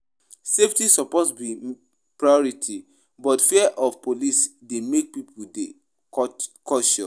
Safety suppose be priority, but fear of police dey make pipo dey cautious.